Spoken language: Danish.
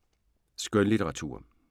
Skønlitteratur